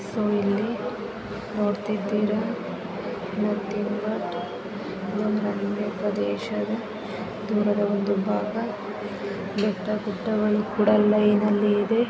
ಇಲ್ಲಿ ನೋಡ್ತಿದ್ದೀರಾ ಇದೊಂದು ಮಲ್ನಾಡಿನ ಪ್ರದೇಶ ಇದರಲ್ಲಿ ಒಂದು ಭಾಗ ಬೆಟ್ಟಗುಡ್ಡಗಳು ಕುಡ ಲೈನ್ ನಲ್ಲಿ ಇದೆ .